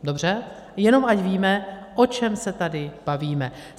Dobře, jenom ať víme, o čem se tady bavíme.